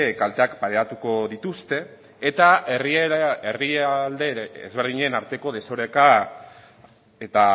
kalteak pairatuko dituzte eta herrialde desberdinen arteko desoreka eta